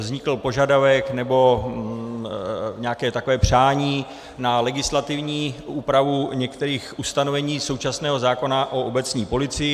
Vznikl požadavek, nebo nějaké takové přání, na legislativní úpravu některých ustanovení současného zákona o obecní policii.